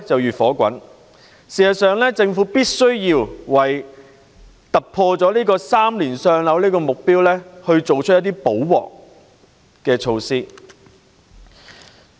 事實上，政府必須為突破3年的"上樓"目標，作出一些"補鑊"的措施。